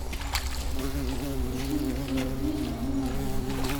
перечисли сто рублей на мой мобильный